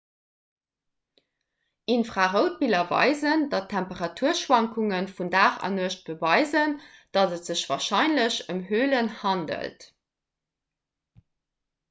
infraroutbiller weisen datt d'temperaturschwankunge vun dag an nuecht beweisen datt et sech warscheinlech ëm hölen handelt